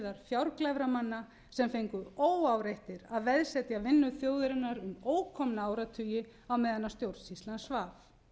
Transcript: fjárglæframanna sem fengu óáreittir að veðsetja vinnu þjóðarinnar um ókomna áratugi á meðan stjórnsýslan svaf